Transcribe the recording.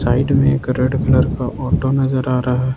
side में एक red colour का ऑटो नजर आ रहा--